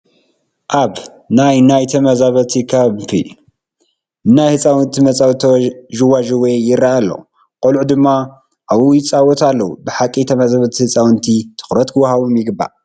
ኣብ ናይ ናይ ተመዛበልቲ ካምፕ ናይ ህፃውንቲ መፃወቲ ዥዋዥዌ ይርአ ኣሎ፡፡ ቆልዑ ድማ ኣብኡ ይፃወታ ኣለዋ፡፡ ብሓቂ ተመዛበልቲ ህፃውንቲ ትኹረት ክወሃቦም ይግባእ፡፡